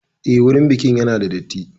Eh, wurin bikin ya na da datti